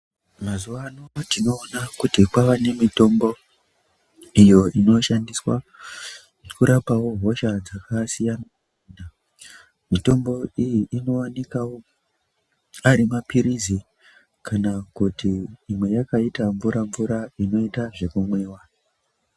Mazuva ano tinoona kuti kwaanemitombo iyo inoshandiswa kurapawo hosha dzakasiyana. Mitombo iyi inowanikwawo ari maphirizi kana kuti imwe yakaita mvura-mvura inoita zvekumwiwa.